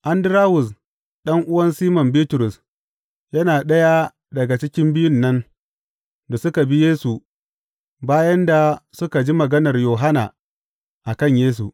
Andarawus ɗan’uwan Siman Bitrus, yana ɗaya daga cikin biyun nan da suka bi Yesu bayan da suka ji maganar Yohanna a kan Yesu.